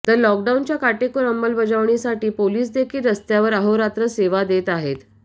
तर लॉकडाउनच्या काटेकोर अंमलबजावणीसाठी पोलिसदेखील रस्त्यावर अहोरात्र सेवा देत आहेत